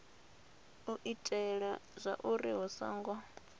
u itela zwauri hu songo